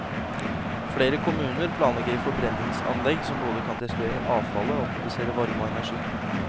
Flere kommuner planlegger forbrenningsanlegg, som både kan destruere avfallet og produsere varme og energi.